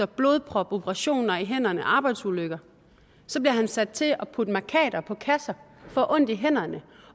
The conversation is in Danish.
blodprop operationer i hænderne og arbejdsulykker så bliver han sat til at putte mærkater på kasser og får ondt i hænderne